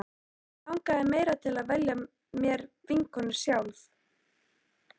Mig langaði meira til að velja mér vinkonur sjálf.